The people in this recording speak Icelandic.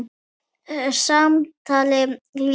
Samtali lýkur.